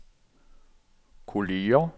kolleger